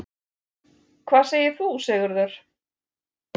Hvað segir þú, Sigurður?